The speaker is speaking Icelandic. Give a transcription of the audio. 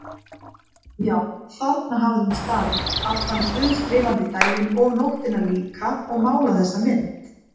Já, þarna hafði hún staðið allan guðslifandi daginn og nóttina líka og málað þessa mynd.